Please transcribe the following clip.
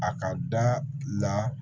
A ka da la